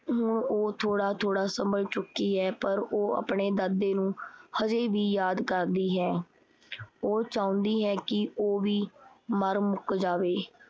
ਹੁਣ ਉਹ ਥੋੜਾ-ਥੋੜਾ ਸੰਭਲ ਚੁੱਕੀ ਹੈ। ਪਰ ਉਹ ਆਪਣੇ ਦਾਦੇ ਨੂੰ ਹਜੇ ਵੀ ਯਾਦ ਕਰਦੀ ਹੈ। ਉਹ ਚਾਹੰਦੀ ਹੈ ਕੀ ਉਹ ਵੀ ਮਰ ਮੁੱਕ ਜਾਵੇ।